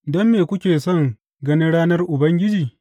Don me kuke son ganin ranar Ubangiji?